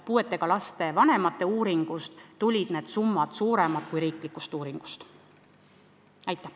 Puudega laste vanemate tellitud uuringu järgi olid need summad suuremad kui riikliku uuringu järgi.